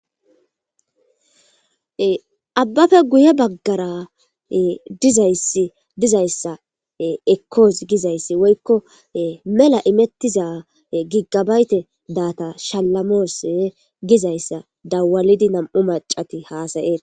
Abaffe guye bagara dizzaysi dizayssa ekos mela imetida giga bayta data shalamosse gizayssa dawlidi nam'u macati hasayosona.